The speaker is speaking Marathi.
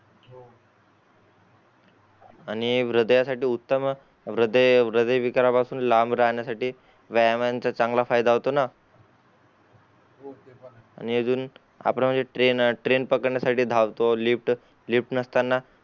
आणि हृदया साठी उत्तम हृदय हृदय विकारा पासून लांब राहण्यासाठी व्यायामाचा चांगला फायदा होता ना आणि अजून आपण म्हणजे ट्रेन ट्रेन पकडण्यासाठी धावतो लिफ्ट लिफ्ट नसताना